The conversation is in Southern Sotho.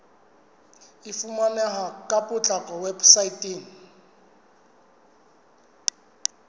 e fumaneha ka potlako weposaeteng